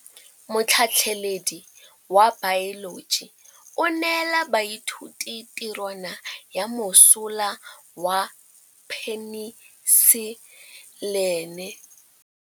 Motlhatlhaledi wa baeloji o neela baithuti tirwana ya mosola wa peniselene.